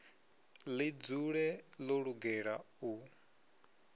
ḽi dzule ḽo lugela u